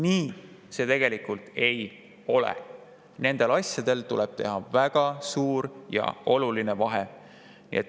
Nii see tegelikult ei ole, nendel asjadel on väga suur ja oluline vahe.